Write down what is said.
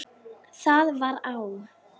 Það var á